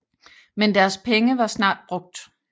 Men deres penge var snart brugt